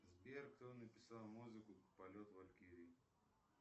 сбер кто написал музыку полет валькирии